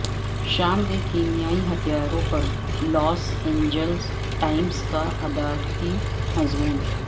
شام کے کیمیائی ہتھیاروں پر لاس اینجلس ٹائمز کا ادارتی مضمون